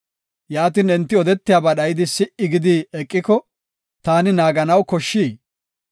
Yaatin enti odetiyaba dhayidi si77i gidi eqiko, taani naaganaw koshshii?